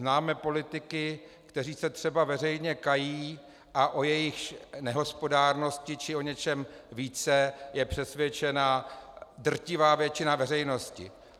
Známe politiky, kteří se třeba veřejně kají a o jejichž nehospodárnosti či o něčem více je přesvědčena drtivá většina veřejnosti.